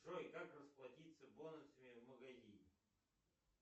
джой как расплатиться бонусами в магазине